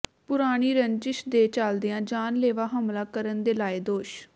ਪੁਰਾਣੀ ਰੰਜਿਸ਼ ਦੇ ਚਲਦਿਆਂ ਜਾਨਲੇਵਾ ਹਮਲਾ ਕਰਨ ਦੇ ਲਾਏ ਦੋਸ਼